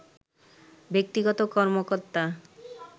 ব্যক্তিগত কর্মকর্তা